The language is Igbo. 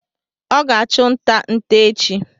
Ọ ga achụ nta nte echi